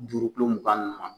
Juru mugan ma